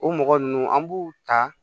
O mɔgɔ ninnu an b'u ta